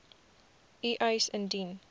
u eis indien